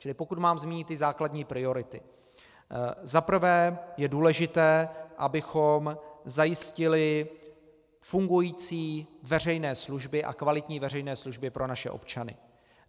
Čili pokud mám zmínit základní priority, za prvé je důležité, abychom zajistili fungující veřejné služby a kvalitní veřejné služby pro naše občany.